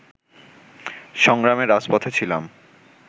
সংগ্রামে রাজপথে ছিলাম